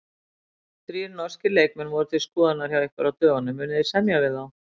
Þrír norskir leikmenn voru til skoðunar hjá ykkur á dögunum, munið þið semja við þá?